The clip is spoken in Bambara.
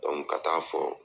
ka taa fɔ.